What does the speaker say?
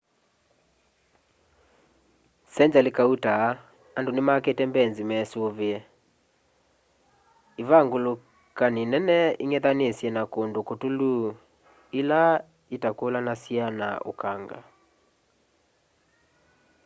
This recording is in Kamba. sengyali kauta andu nimakite mbeinzi mesuvie ivangalukini nene ing'ethanisye na kundu kutulu ila ila itakulanasya na ukanga